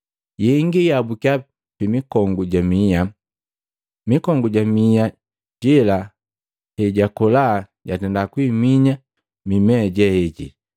Yengi yaabukya pimikongu ja miya, mikongu ja miha yela heyakola yatenda kuihinya mimea jejela.